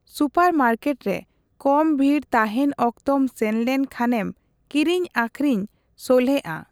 ᱥᱩᱯᱟᱨᱢᱟᱨᱠᱮᱴᱨᱮ ᱠᱚᱢ ᱵᱷᱤᱲ ᱛᱟᱦᱮᱸᱱ ᱚᱠᱛᱚᱢ ᱥᱮᱱᱞᱮᱱ ᱠᱷᱟᱱᱮᱢ ᱠᱤᱨᱤᱧ ᱟᱹᱠᱷᱨᱤᱧ ᱥᱚᱞᱦᱮᱜᱼᱟ ᱾